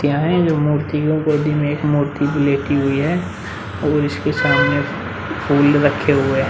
क्या है जो मूर्तियों गोदी में एक मूर्ति भी लेटी हुई है और इसके सामने फूल रखे हुए हैं।